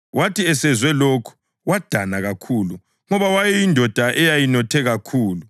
Wathi esezwe lokhu wadana kakhulu ngoba wayeyindoda eyayinothe kakhulu.